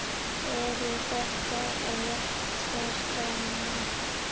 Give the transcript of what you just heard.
Eru þetta réttir dómar?